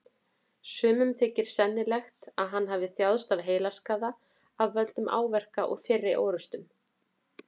Sumum þykir sennilegt að hann hafi þjáðst af heilaskaða af völdum áverka úr fyrri orrustum.